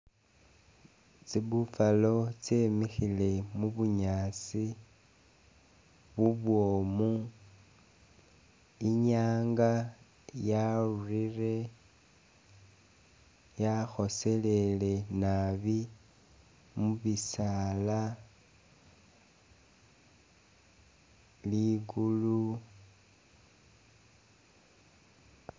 Tsi Buffalo tsyemikhile mu bunyaasi bubwomu, inyanga yarurire yakhoselele nabi mu bisaala, ligulu